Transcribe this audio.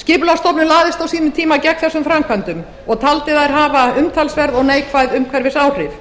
skipulagsstofnun lagðist á sínum tíma gegn þessum framkvæmdum og taldi þær hafa umtalsverð og neikvæð umhverfisáhrif